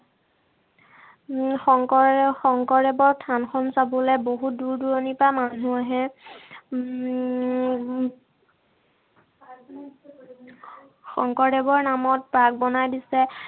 উম শংকৰে শংকৰদেৱৰ থানখন চাবলে বহুত দূৰদূৰণিৰ পৰা মানুহ আহে। উম শংকৰদেৱৰ নামত park বনাই দিছে।